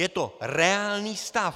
Je to reálný stav.